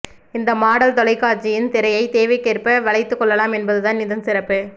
இந்த மாடல் தொலைக்காட்சியின் திரையை தேவைக்கேற்ப வளைத்து கொள்ளலாம் என்பதுதான் இதன் சிறப்பு